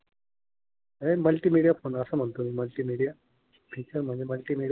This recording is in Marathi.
हे Multimedia फोन असं म्हणतो मी Multimedia सिस्टम मध्ये Multimedia.